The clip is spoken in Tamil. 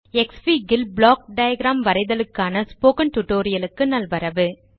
க்ஸ்ஃபிக் ல் ப்ளாக் டயாகிராம் வரைதலுக்கானப் ஸ்போக்கன் டியூட்டோரியல் க்கு நல்வரவு